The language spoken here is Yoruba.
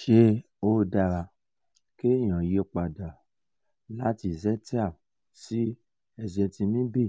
ṣé ó dára kéèyàn yí pa dà láti zetia sí ezetimibe